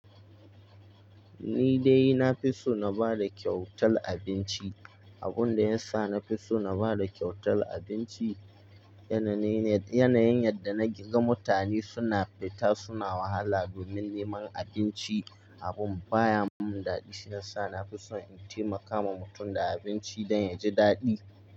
Ni dai na fi so na bada kyautar abinci. Abun da ya sa na fi so na bada kyautar abinci, yanayin yadda na ga mutane suna fita suna wahala domin neman abinci abin baya mun dadi. Shi ya sa na fi so in taimaka wa mutum da abinci don ya ji dadi.